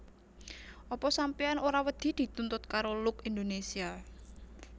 Apa sampeyan ora wedi dituntut karo Look Indonesia